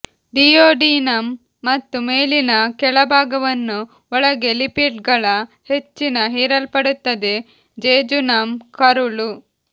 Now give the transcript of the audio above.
duodenum ಮತ್ತು ಮೇಲಿನ ಕೆಳಭಾಗವನ್ನು ಒಳಗೆ ಲಿಪಿಡ್ಗಳ ಹೆಚ್ಚಿನ ಹೀರಲ್ಪಡುತ್ತದೆ ಜೆಜುನಂ ಕರುಳು